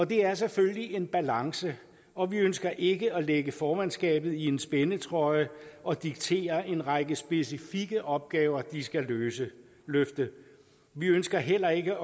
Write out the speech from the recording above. det er selvfølgelig en balance og vi ønsker ikke at lægge formandskabet i en spændetrøje og diktere en række specifikke opgaver de skal løfte vi ønsker heller ikke